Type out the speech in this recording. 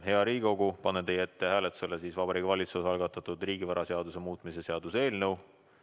Hea Riigikogu, panen teie ette hääletusele Vabariigi Valitsuse algatatud riigivaraseaduse muutmise seaduse eelnõu.